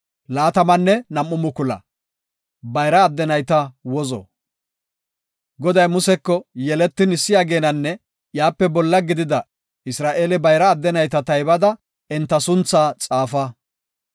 Goday Museko, “Yeletin issi ageenanne iyape bolla gidida Isra7eele bayra adde nayta taybada enta suntha xaafa.